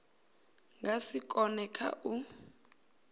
nga si kone kha u